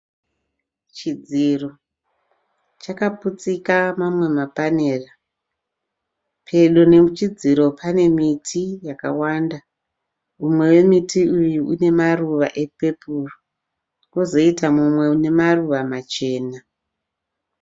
Chidziro chakaputsika mamwe mapanera. Pedo nechidziro pane miti yakawanda. Umwe wemiti uyu une maruva epepuro, kwozoita mumwe une maruva machena.